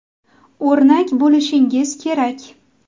O‘rnak bo‘lishingiz kerak.